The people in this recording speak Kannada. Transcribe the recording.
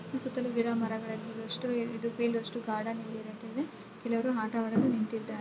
ಈ ಸುತ್ತಲು ಗಿಡ ಮರಗಳಿದೆ ಗಾರ್ಡನ್ ರೀತಿ ಇದೆ ಇಲ್ಲಿ ಕೆಲವರು ಆಟವಾಡಲು ನಿಂತಿದ್ದಾರೆ.